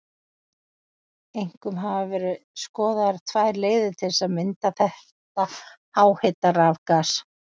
Einkum hafa verið skoðaðar tvær leiðir til að mynda þetta háhita rafgas.